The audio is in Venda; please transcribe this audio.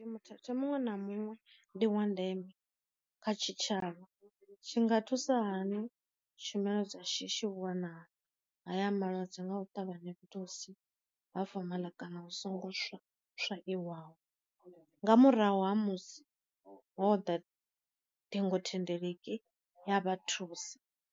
Muthethe muṅwe na muṅwe ndi wa ndeme kha tshi tshavha, tshi nga thusa hani tshumelo dza shishi u wana haya malwadze nga u ṱavhanya fhethu husi ha fomaḽa kana u songo swa swaiwaho, nga murahu ha musi hoḓa ṱhingo thendeleki ya vha thusa.